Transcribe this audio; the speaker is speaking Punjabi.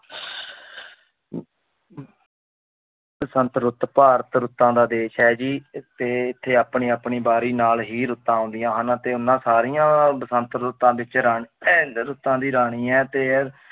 ਬਸੰਤ ਰੁੱਤ ਭਾਰਤ ਰੁੱਤਾਂ ਦਾ ਦੇਸ ਹੈ ਜੀ ਤੇ ਇੱਥੇ ਆਪਣੀ-ਆਪਣੀ ਵਾਰੀ ਨਾਲ ਹੀ ਰੁੱਤਾਂ ਆਉਂਦੀਆਂ ਹਨ ਅਤੇ ਉਹਨਾਂ ਸਾਰੀਆਂ ਬਸੰਤ ਰੁੱਤਾਂ ਵਿੱਚ ਰਾ~ ਇਹ ਰੁੱਤਾਂ ਦੀ ਰਾਣੀ ਹੈ ਤੇ ਇਹ